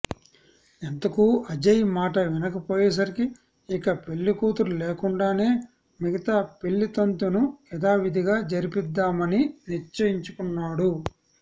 ఎంతకూ అజయ్ మాట వినకపోయేసరికి ఇక పెళ్లికూతురు లేకుండానే మిగతా పెళ్లితంతును యథావిదిగా జరిపిద్దామని నిశ్చయించుకున్నాడు